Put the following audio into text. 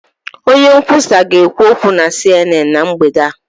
Onye nkwusa ga-ekwu okwu na CNN na mgbede a.